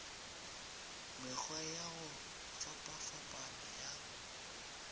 mekgwa ya go fapafapana ya